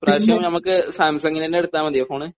ഇപ്രാവശ്യവും നമുക്ക് സാംസങ്ങിന്റെ തന്നെ എടുത്താൽ മതിയോ ഫോണ്?